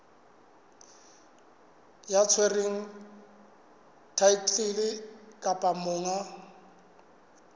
ya tshwereng thaetlele kapa monga